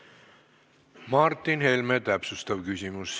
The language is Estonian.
Martin Helme, täpsustav küsimus.